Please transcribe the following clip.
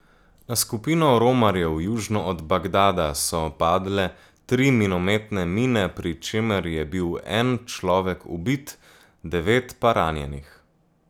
Na skupino romarjev južno od Bagdada so padle tri minometne mine, pri čemer je bil en človek ubit, devet pa ranjenih.